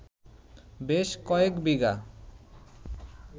বেশ কয়েক বিঘা